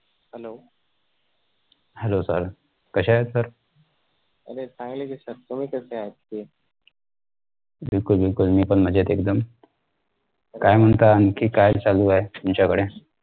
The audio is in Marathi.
hello sir कशे आहेत sir? बिलकुल, बिलकुल, मी पण मजेत एकदम काय म्हणता आणखी काय चालू आहे तुमच्या कडे?